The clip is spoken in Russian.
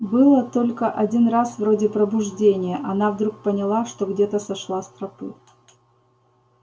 было только один раз вроде пробуждения она вдруг поняла что где-то сошла с тропы